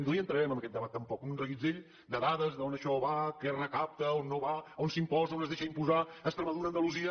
no hi entrarem en aquest debat tampoc un reguitzell de dades d’on això va què es recapta on no va on s’imposa on es deixa imposar extremadura andalusia